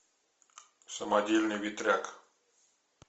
самодельный ветряк